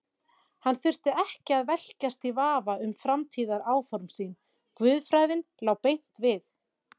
Hann þurfti ekki að velkjast í vafa um framtíðaráform sín, guðfræðin lá beint við.